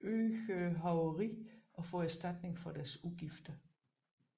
øget hoveri at få erstatning for deres udgifter